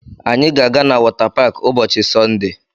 Anyị ga-aga na wọta paakị ụbọchị Sọnde